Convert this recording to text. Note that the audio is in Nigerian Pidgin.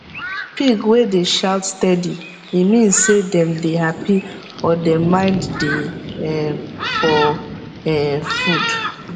pig wey dey shout steady e mean say dem dey happy or dem mind dey um for um food